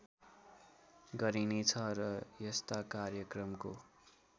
गरिने छ र यस्ता कार्यक्रमको